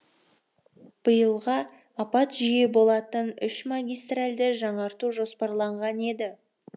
биылға апат жиі болатын үш магистральді жаңарту жоспарланған еді